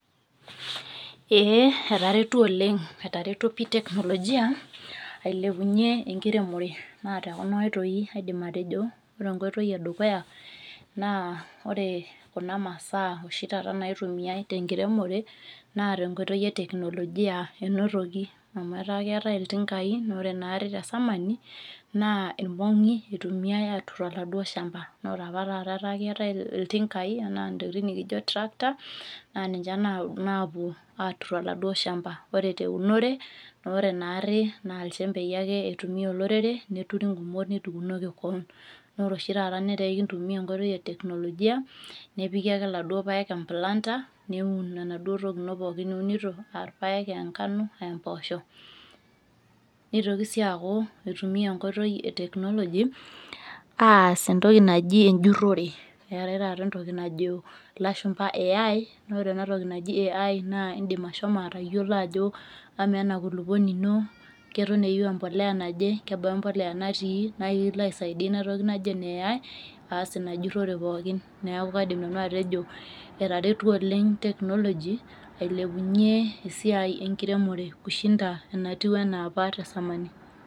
Ee etaretuo oleng etaretuo pi teknolojia ,ailepunye enkiremore. Na tekuna oitoi aidim atejo. Ore enkotoi edukuya naa, ore kuna masaa oshi taata naitumiai tenkiremore, na tenkoitoi e teknolojia inotoki. Amu etaa keetae iltinkai na ore naarri tesamani, naa irmong'i itumiai atur oladuo shamba. Nore apa taata etaa keetae iltinkai ena ntokiting nikijo tractor, na ninche napuo atur oladuo shamba. Ore teunore, nore naarri, na ilchembei ake itumia olorere, nituri gumot netukunoki keon. Nore oshi taata netaa ekintumia enkoitoi e teknolojia, nepiki ake laduo paek e planter, neun enaduo toki ino pookin niunito, ah irpaek, enkano, ah mpoosho. Nitoki si aku itumia enkoitoi e technology ,aas entoki naji ejurrore. Eetae taata entoki najo ilashumpa Al, na ore ena toki naji Al naa idim ashomo atayiolo ajo amaa ena kulukuoni ino, keton eyieu empolea naje, kebaa empolea natii, nekilo aisaidia inatoki naji ene AI, aas ina jurrore pookin. Neeku kaidim nanu atejo etaretuo oleng technology, ailepunye esiai enkiremore kushinda enatiu enaa apa tesamani.